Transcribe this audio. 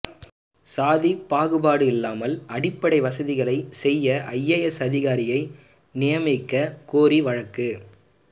சாதி பாகுபாடு இல்லாமல் அடிப்படை வசதிகளை செய்ய ஐஏஎஸ் அதிகாரியை நியமிக்க கோரிய வழக்கு